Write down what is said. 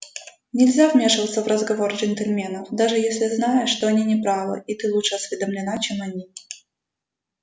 нельзя вмешиваться в разговор джентльменов даже если знаешь что они не правы и ты лучше осведомлена чем они